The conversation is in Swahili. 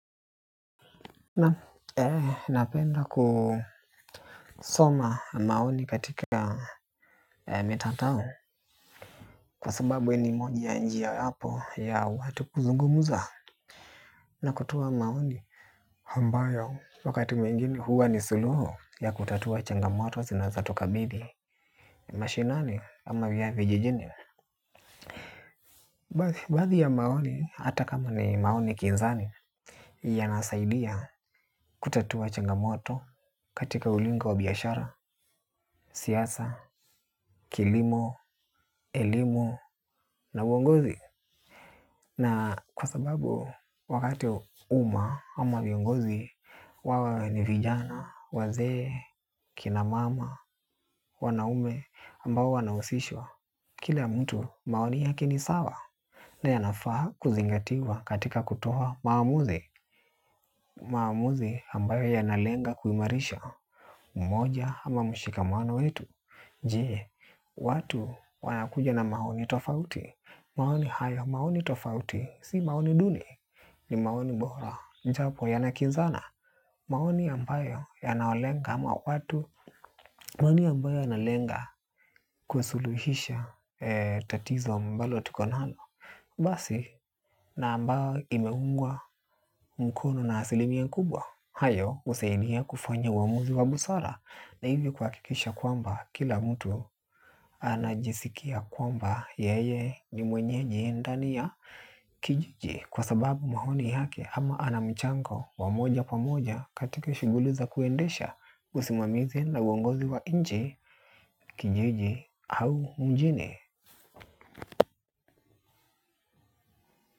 Napenda kusoma maoni katika mitandao. Kwa sababu ni moja ya njia hapo ya watu kuzungumuza. Na kutoa maoni ambayo wakati mwingine huwa ni suluhu ya kutatua changamoto zinazotukabili. Mashinani ama vya vijijini baadhi ya maoni hata kama ni maoni kinzani yanasaidia kututua changamoto katika ulingo wa biashara, siasa, kilimo, elimu na uongozi. Na kwa sababu wakati uma ama viongozi wawe ni vijana, wazee, kinamama, wanaume ambao wanahusishwa kila mtu maoni yake sawa. Na yanafa kuzingatiwa katika kutoa maamuzi. Maamuzi ambayo yanalenga kuimarisha mmoja ama mshikamano wetu. Je, watu wanakuja na maoni tofauti, maoni haya maoni tofauti, si maoni duni, ni maoni bora, japo yanakizana, maoni ambayo yanalenga ama watu, maoni ambayo yanalenga kusuluhisha tatizo mbalo tuko nalo. Basi na ambao imeungwa mkono na asilimia kubwa hayo husaidia kufanya uamuzi wa busara na hivi kuhakikisha kwamba kila mtu anajisikia kwamba yeye ni mwenyeji ndani ya kijiji kwa sababu maoni yake ama anamchango wa moja kwa moja katika shughuli za kuendesha usimamizi na uongozi wa nchi, kijiji au mjini.